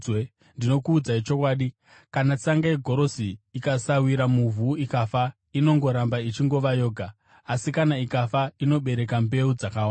Ndinokuudzai chokwadi, kana tsanga yegorosi ikasawira muvhu ikafa, inongoramba ichingova yoga. Asi kana ikafa, inobereka mbeu dzakawanda.